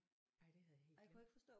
Ej det havde jeg helt glemt